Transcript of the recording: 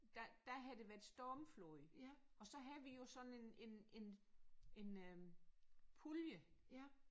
Der der havde der været stormfold og så havde vi jo sådan en en en en øh pulje